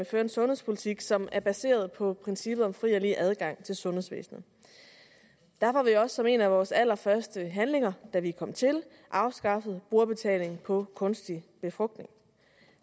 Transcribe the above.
føre en sundhedspolitik som er baseret på princippet om fri og lige adgang til sundhedsvæsenet derfor har vi også som en af vores allerførste handlinger da vi kom til afskaffet brugerbetaling for kunstig befrugtning